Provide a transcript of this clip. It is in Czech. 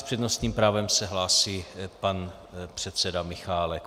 S přednostním právem se hlásí pan předseda Michálek.